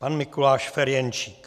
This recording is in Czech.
Pan Mikuláš Ferjenčík.